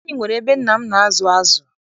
Anyị nwere ebe nna m na-azụ azụ.